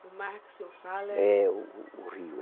O mar que o senhor fala. É,o, o o rio.